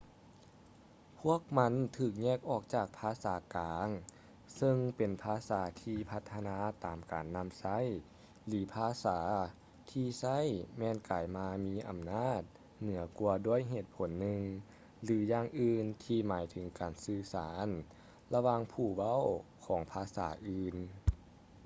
ພວກມັນຖືກແຍກອອກຈາກພາສາກາງເຊິ່ງເປັນພາສາທີ່ພັດທະນາຕາມການນຳໃຊ້ ຫຼື ພາສາທີ່ໃຊ້ແມ່ນກາຍມາມີອຳນາດເໜືອກວ່າດ້ວຍເຫດຜົນໜຶ່ງ ຫຼື ຢ່າງອື່ນທີ່ໝາຍເຖິງການສື່ສານລະຫວ່າງຜູ້ເວົ້າຂອງພາສາອື່ນ